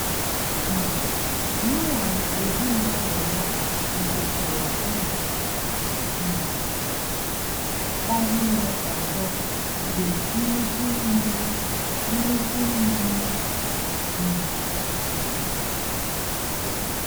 um Noah na ezinụlọ ya bidokwara ndụ um ọhụrụ ọzọ mgbe nnukwu mmiri nnukwu mmiri um zochara